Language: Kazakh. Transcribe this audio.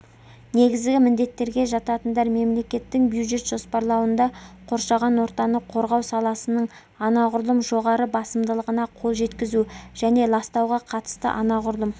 негізгі міндеттерге жататындар мемлекеттің бюджет жоспарлауында қоршаған ортаны қорғау саласының анағұрлым жоғары басымдығына қол жеткізу және ластауға қатысты анағұрлым